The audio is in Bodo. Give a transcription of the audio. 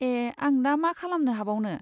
ए! आं दा मा खालामनो हाबावनो?